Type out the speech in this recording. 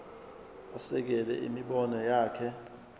asekele imibono yakhe